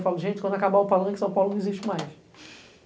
Falo, gente, quando acabar o Palanque, São Paulo não existe mais.